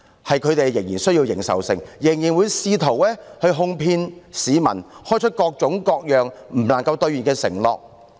是前者仍然需要認受性，仍然試圖哄騙市民，開出各種各樣無法兌現的承諾。